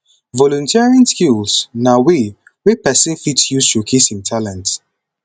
volunteering skills na way wey person fit use showcase im talent